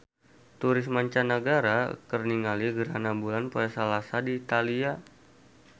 Turis mancanagara keur ningali gerhana bulan poe Salasa di Italia